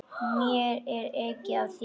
Mér er ekið af þér.